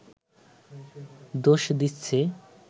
দোষ দিচ্ছে